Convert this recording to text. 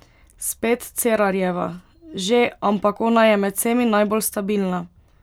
Spet Cerarjeva: "Že, ampak ona je med vsemi najbolj stabilna.